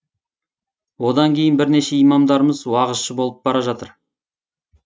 одан кейін бірнеше имамдарымыз уағызшы болып бара жатыр